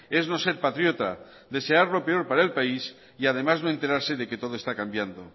es no ser patriota desear lo peor para el país y además no enterarse de que todo está cambiando